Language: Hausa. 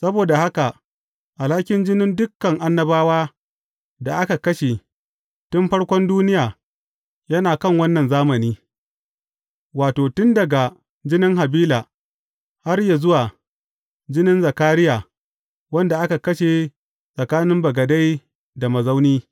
Saboda haka, alhakin jinin dukan annabawa da aka kashe, tun farkon duniya, yana kan wannan zamani, wato, tun daga jinin Habila, har zuwa jinin Zakariya, wanda aka kashe tsakanin bagade da mazauni.